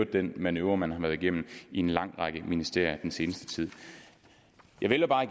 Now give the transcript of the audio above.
den manøvre man har været igennem i en lang række ministerier den seneste tid jeg vælger bare